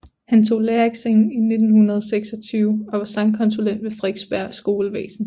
Han tog lærereksamen i 1926 og var sangkonsulent ved Frederiksberg Skolevæsen